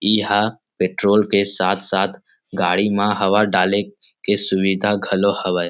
यह पेट्रोल के साथ_साथ गाडी मा हवा डाले के सुविधा खलो हवय ।